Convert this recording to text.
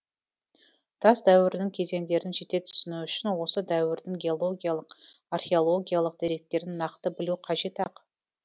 тас дәуірінің кезеңдерін жете түсіну үшін осы дәуірдің геологиялық археологиялық деректерін нақты білу қажет ақ